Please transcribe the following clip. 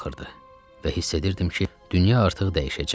Və hiss edirdim ki, dünya artıq dəyişəcək.